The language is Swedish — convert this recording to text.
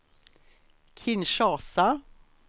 Kinshasa